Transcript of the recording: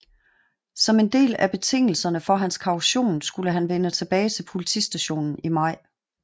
Som en del af betingelserne for hans kaution skulle han vende tilbage til politistationen i maj